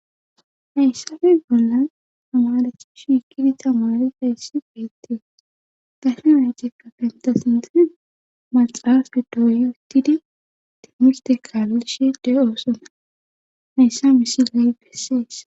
Hayssafe bolla tamarechi shikidi tamari hayssi beettii dahenacikka pentasimese maxaaafdi do yuutidi timiste kaalishe de7oosona hayssa misiley bessees